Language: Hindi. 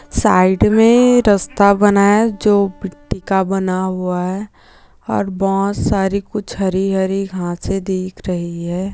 साइड मे रस्ता बना है जो मिट्टी का बना हुआ है और बहुत सारी कुछ हरी-हरी घासे दिख रही है।